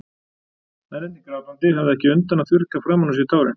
Mennirnir grátandi, höfðu ekki undan að þurrka framan úr sér tárin.